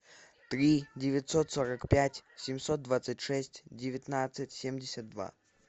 три девятьсот сорок пять семьсот двадцать шесть девятнадцать семьдесят два